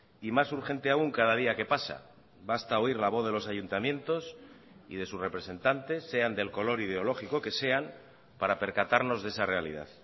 y más urgente aún cada día que pasa basta oír la voz de los ayuntamientos y de sus representantes sean del color ideológico que sean para percatarnos de esa realidad